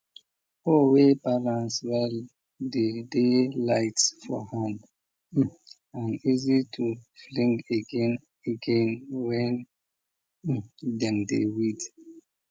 hoe way balance well dey dey light for hand um and easy to fling again again when um dem dey weed